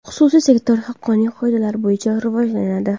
Xususiy sektor haqqoniy qoidalar bo‘yicha rivojlanadi.